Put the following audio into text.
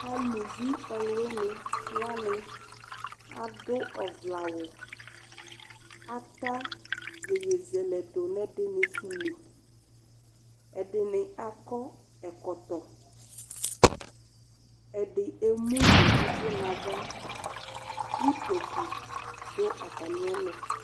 Alʋvi ɔlʋwini wani adʋ ɔvlɛ awʋ, ata yeyezɛlɛ dʋ n'ɛdini sʋ li, ɛdini akɔ ɛkɔtɔ, ɛdi emu nʋ ʋvʋ n'ava Utoku dʋ atamiɛtʋ